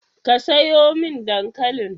Ka sayo mi dankalin?